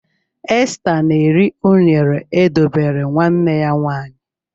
Esther na-eri unere e dobere nwanne ya nwanyị.